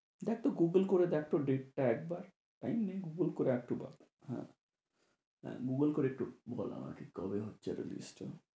দেখতো গুগল করে দেখতো date টা একবার। গুগল করে একটু বল হ্যাঁ হ্যাঁ গুগল করে একটু বল আমাকে কবে হচ্ছে release?